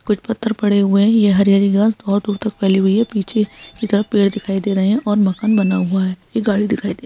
पत्थर पड़े हुए हैं ये हरी-हरी घास बहुत दूर तक फैली हुई है पीछे की तरफ पेड़ दिखाई दे रहे हैं और मकान बना हुआ है ये गाड़ी दिखाई दे रही।